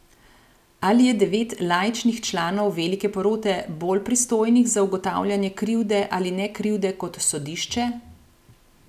Ali je devet laičnih članov velike porote bolj pristojnih za ugotavljanje krivde ali nekrivde kot sodišče?